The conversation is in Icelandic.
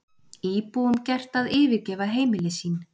Íbúum gert að yfirgefa heimili sín